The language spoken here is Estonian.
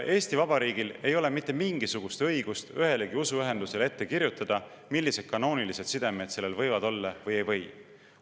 Eesti Vabariigil ei ole mitte mingisugust õigust ühelegi usuühendusele ette kirjutada, millised kanoonilised sidemed sellel olla võivad või ei või.